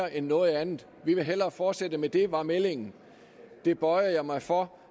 end noget andet vi vil hellere fortsætte med det var meldingen det bøjede jeg mig for og